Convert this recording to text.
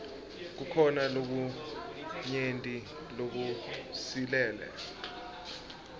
kukhona lokunyenti lokusilele